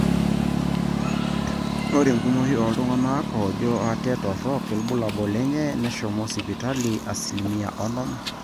ore enkumoi ooltung'anak oojo ate torok irbulabul lenye neshomo sipitali asilimia onom